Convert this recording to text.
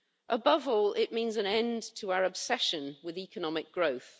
Above all, it means an end to our obsession with economic growth.